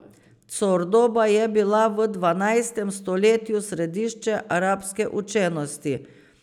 Cordoba je bila v dvanajstem stoletju središče arabske učenosti.